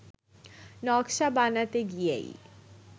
নকশা বানাতে গিয়েই